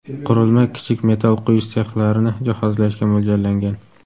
Qurilma kichik metal quyish sexlarini jihozlashga mo‘ljallangan.